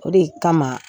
O de kama